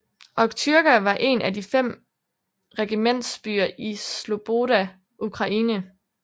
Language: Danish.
Okhtyrka var en af fem regimentsbyer i Sloboda Ukraine